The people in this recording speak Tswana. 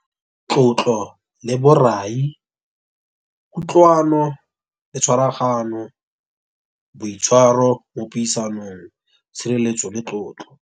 Tlotlo le borai, kutlwano le tshwaraganyo. Boitshwaro mo puisanong, tshireletso le tlotlo.